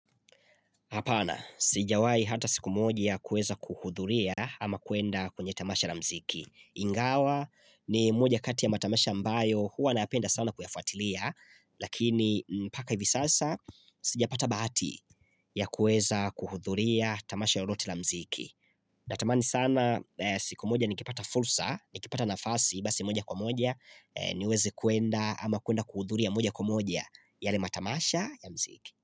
Hapana, sijawahi hata siku moja kuweza kuhudhuria ama kwenda kwenye tamasha la muziki. Ingawa, ni moja kati ya matamasha ambayo huwa nayapenda sana kuyafuatilia, lakini mpaka hivi sasa, sijapata bahati ya kuweza kuhudhuria tamasha lolote la muziki. Natamani sana siku moja nikipata fursa, nikipata nafasi, basi moja kwa moja, niweze kwenda ama kwenda kuhudhuria moja kwa moja, yale matamasha ya muziki.